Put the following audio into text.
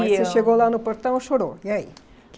E eu mas você chegou lá no portão e chorou. E aí